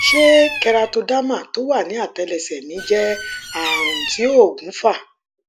ṣé keratoderma tó wà ní àtẹlẹsẹ mí jẹ ààrùn tí òògùn fà